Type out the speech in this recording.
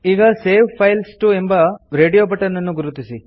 ಈಗ save files T O ಎಂಬ radio button ಅನ್ನು ಗುರುತಿಸಿ